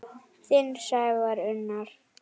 Þinn Sævar Unnar.